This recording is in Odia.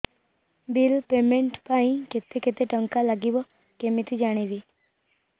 ବିଲ୍ ପେମେଣ୍ଟ ପାଇଁ କେତେ କେତେ ଟଙ୍କା ଲାଗିବ କେମିତି ଜାଣିବି